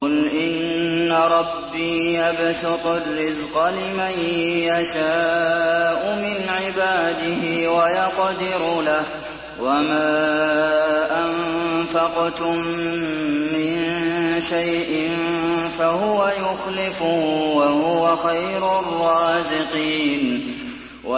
قُلْ إِنَّ رَبِّي يَبْسُطُ الرِّزْقَ لِمَن يَشَاءُ مِنْ عِبَادِهِ وَيَقْدِرُ لَهُ ۚ وَمَا أَنفَقْتُم مِّن شَيْءٍ فَهُوَ يُخْلِفُهُ ۖ وَهُوَ خَيْرُ الرَّازِقِينَ